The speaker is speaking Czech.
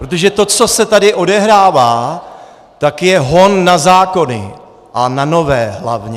Protože to, co se tady odehrává, tak je hon na zákony, a na nové hlavně.